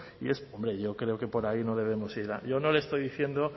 hombre yo creo que por ahí no debemos ir yo no le estoy diciendo